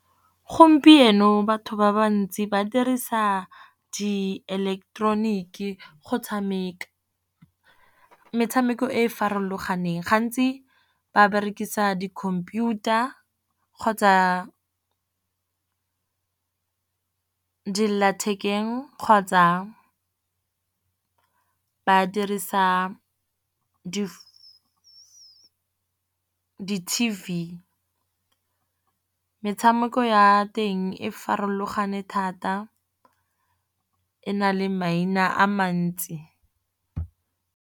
Gompieno batho ba ba ntsi ba dirisa di eleketeroniki go tshameka, metshameko e e farologaneng. Gantsi ba berekisa di-computer kgotsa dilelathekeng kgotsa ba dirisa T_V. Metshameko ya teng e farologane thata e na le maina a mantsi.